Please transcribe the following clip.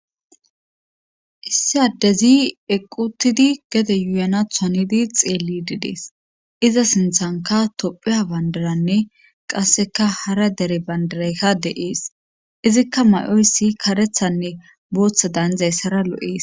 issi addezi equuttidi gede yuuyanaatta hanidi xeellidi des iza sinttanka tophiya banddiranne qasseka hara dere banddirayka de7es izikka may7oyssi karettanne boottadaanizaysara lo7ees.